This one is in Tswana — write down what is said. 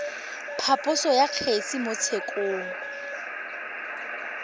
phaposo ya kgetse mo tshekong